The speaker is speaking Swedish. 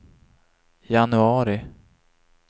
januari